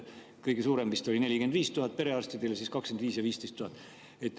Kõige suurem vist oli perearstide, 45 000, siis olid 25 000 ja 15 000.